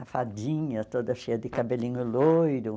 A fadinha toda cheia de cabelinho loiro.